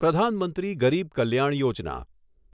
પ્રધાન મંત્રી ગરીબ કલ્યાણ યોજના